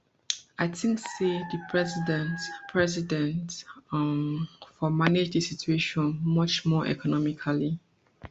i think say di president president um for manage di situation much more economically